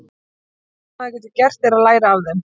Það eina sem maður getur gert er að læra af þeim.